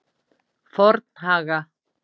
Fornhaga